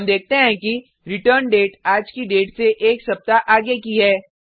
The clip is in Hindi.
हम देखते हैं कि रिटर्न डेट आज की डेट से एक सप्ताह आगे की है